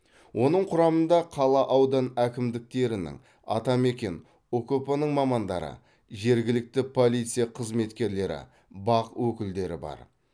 оның құрамында қала аудан әкімдіктерінің атамекен ұкп ның мамандары жергілікті полиция қызметкерлері бақ өкілдері бар